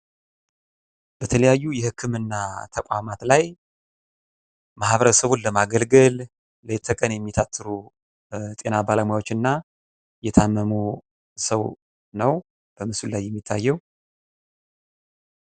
የጤና አገልግሎት በሽታዎችን መከላከልንና ማከምን የሚያካትት ሲሆን የዜጎችን ጤናማ ሕይወት ለማረጋገጥ ወሳኝ መሠረታዊ አገልግሎት ነው።